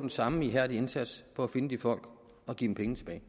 den samme ihærdige indsats for at finde de folk og give dem penge tilbage